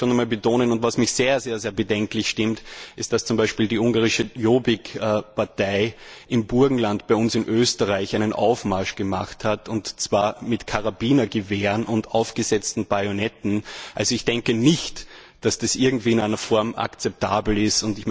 Und da möchte ich schon noch einmal betonen, was mich sehr, sehr bedenklich stimmt, ist, dass zum Beispiel die ungarische Jobbik Partei im Burgenland bei uns in Österreich einen Aufmarsch gemacht hat, und zwar mit Karabinergewehren und aufgesetzten Bajonetten. Ich denke nicht, dass das irgendwie in einer Form akzeptabel ist.